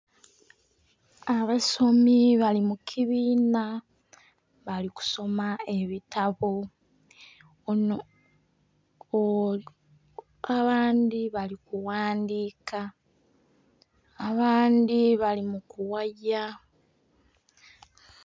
Abasomi bali mu kibiina bali kusoma ebitabo ono .... abandhi bali kughandhiika, abandhi bali mukughaya.